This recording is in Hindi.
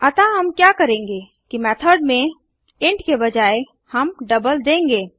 अतः हम क्या करेंगे कि मेथड़ में इंट के बजाय हम डबल देंगे